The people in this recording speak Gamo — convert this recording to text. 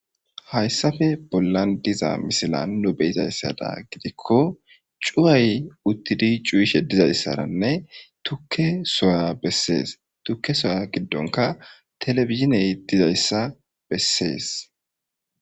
Hayssafe bollan diza misilan nu be7izayssada gidikko cuway uttidi cuyishe dizayssaranne tukke soya bessees tukke soya giddonka telebiziney dizayssa bessees.